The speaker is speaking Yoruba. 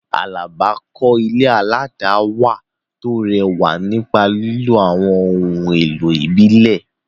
Alaba kọ́ ilé aládàáwà tó rẹwà nípa lílo àwọn ohun èlò ìbílẹ̀.